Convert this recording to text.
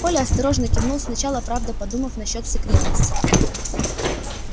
коля осторожно кивнул сначала правда подумав насчёт секретности